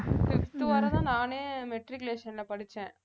fifth வரை தான் நானே matriculation ல படிச்சேன்